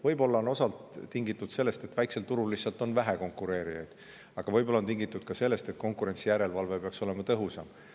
Võib-olla on see osalt tingitud sellest, et väikesel turul on lihtsalt vähe konkurente, aga võib-olla ka sellest, et konkurentsijärelevalve peaks olema tõhusam.